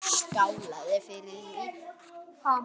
Hún skálaði fyrir því.